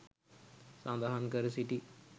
සඳහන් කර සිටි